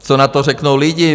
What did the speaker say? Co na to řeknou lidi?